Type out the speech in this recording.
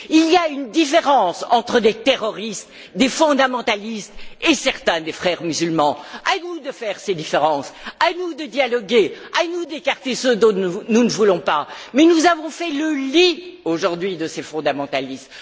Il y a une différence entre des terroristes, des fondamentalistes, et certains des frères musulmans. À nous de faire ces différences, à nous de dialoguer, à nous d'écarter ceux dont nous ne voulons pas, mais nous avons fait le lit aujourd'hui de ces fondamentalistes!